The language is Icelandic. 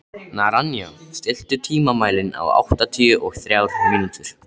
Naranja, stilltu tímamælinn á áttatíu og þrjár mínútur.